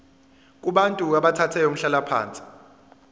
kubantu abathathe umhlalaphansi